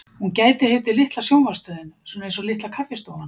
Hún gæti heitið Litla sjónvarpsstöðin, svona einsog Litla kaffistofan.